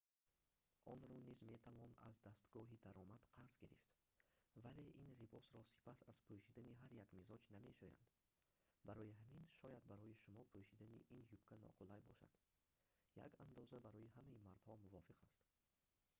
онро низ метавон аз дастгоҳи даромад қарз гирифт вале ин либосро пас аз пӯшидани ҳар як мизоҷ намешӯянд барои ҳамин шояд барои шумо пӯшидани ин юбка ноқулай бошад як андоза барои ҳамаи мардҳо мувофиқ аст